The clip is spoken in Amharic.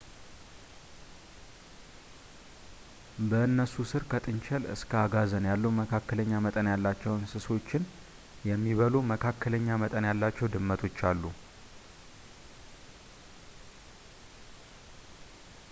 በእነሱ ሥር ከጥንቸል እስከ አጋዘን ያሉ መካከለኛ መጠን ያላቸው እንስሶችን የሚበሉ መካከለኛ መጠን ያላቸው ድመቶች አሉ